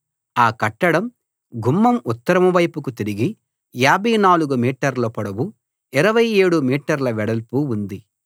ఆ కట్టడం గుమ్మం ఉత్తరం వైపుకు తిరిగి 54 మీటర్ల పొడవు 27 మీటర్ల వెడల్పు ఉంది